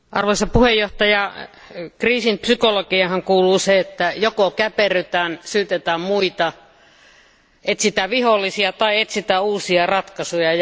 Arvoisa puhemies, kriisin psykologiaanhan kuuluu se, että joko käperrytään, syytetään muita, etsitään vihollisia tai etsitään uusia ratkaisuja.